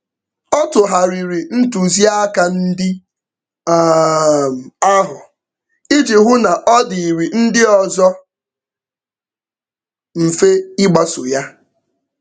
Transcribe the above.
Ọ tụgharịrị ntụziaka ndi um ahụ iji hụ na ọ dịịrị ndị ọzọ mfe ịgbaso ya.